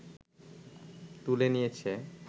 তুলে নিয়েছে